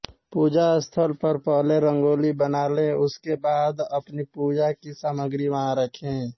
पूजा स्थल पर पहले रंगोली बना लें उसके बाद अपनी पूजा की सामग्री वहां रखें